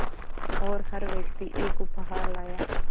और हर व्यक्ति एक उपहार लाया